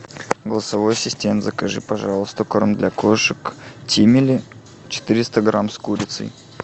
голосовой ассистент закажи пожалуйста корм для кошек тимели четыреста грамм с курицей